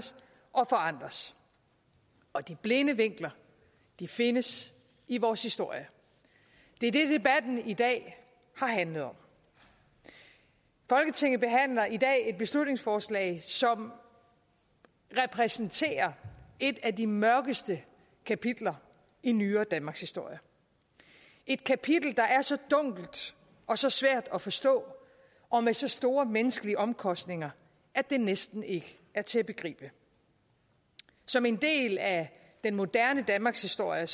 og forandres og de blinde vinkler findes i vores historie det er det debatten i dag har handlet om folketinget behandler i dag et beslutningsforslag som repræsenterer et af de mørkeste kapitler i nyere danmarkshistorie et kapitel der er så dunkelt og så svært at forstå og med så store menneskelige omkostninger at det næsten ikke er til at begribe som en del af den moderne danmarkshistorie